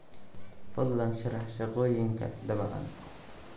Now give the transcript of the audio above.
fadlan sharax shaqooyinka daabacan